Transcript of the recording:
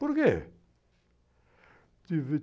Por quê?